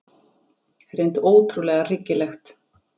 Hreint ótrúlega hryggilegt.